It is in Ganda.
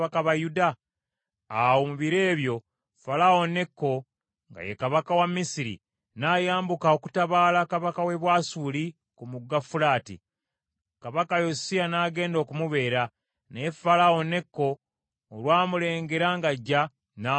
Awo mu biro ebyo, Falaawo Neko nga ye kabaka wa Misiri n’ayambuka okutabaala kabaka w’e Bwasuli ku Mugga Fulaati; kabaka Yosiya n’agenda okumubeera, naye Falaawo Neko olwamulengera ng’ajja, n’amuttira e Megiddo.